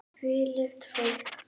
Hvílíkt fólk!